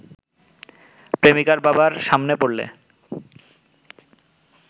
প্রেমিকার বাবার সামনে পড়লে